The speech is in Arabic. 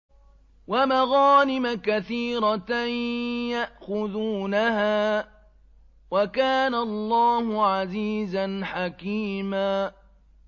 وَمَغَانِمَ كَثِيرَةً يَأْخُذُونَهَا ۗ وَكَانَ اللَّهُ عَزِيزًا حَكِيمًا